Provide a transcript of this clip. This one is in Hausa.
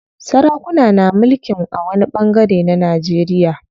Sarakuna na mulkin a wani ɓangare a Najeriya.